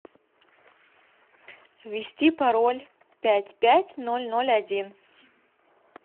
ввести пароль пять пять ноль ноль один